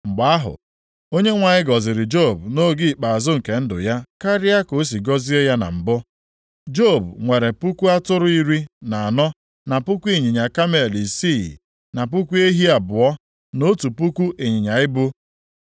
Mgbe ahụ, Onyenwe anyị gọziri Job nʼoge ikpeazụ nke ndụ ya karịa ka o si gọzie ya na mbụ. Job nwere puku atụrụ iri na anọ na puku ịnyịnya kamel isii na puku ehi abụọ na otu puku ịnyịnya ibu.